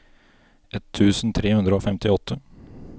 ett tusen tre hundre og femtiåtte